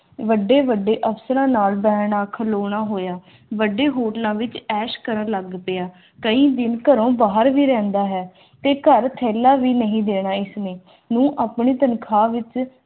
ਵੱਡੇ-ਵੱਡੇ ਅਫ਼ਸਰਾਂ ਨਾਲ ਰਹਿਣਾ ਖਲੋਤਾ ਹੋਇਆ ਵੱਡੇ ਹੋਟਲਾਂ ਵਿਚ ਐਸ਼ ਕਰਨ ਲੱਗ ਪਿਆ ਘੇਰ ਵਿਚ ਇਕ ਥੈਲਾ ਭੀ ਨਹੀਂ ਨਹੀਂ ਦੇਣ ਇਸਨੇ ਨੌਂ ਆਪਣੀ ਤਾਨਖੁਵਾ